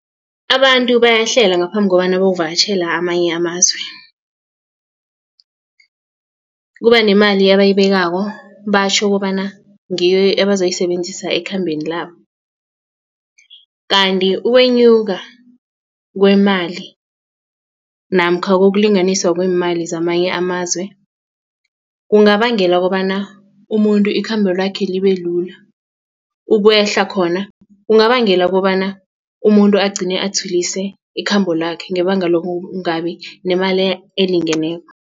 Abantu bayahlela ngaphambi kobana bayokuvakatjhela amanye amazwe kuba nemali abayibekako batjho kobana ngiyo ebazoyisebenzisela ekhambeni labo kanti ukwenyuka kwemali namkha kokulinganiswa kweemali zamanye amazwe kungabangela kobana umuntu ikhambo lakhe libe lula ukwehla khona kungabangela kobana umuntu agcine atshwilise ikhambo lakhe ngebanga lokungabi nemali elingeneko.